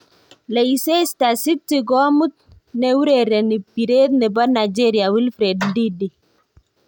Leicester city komut neurereni piret nepo Nigeria Wilfred Ndidi.